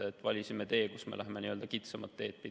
Me valisime selle, et me lähme kitsamat teed pidi.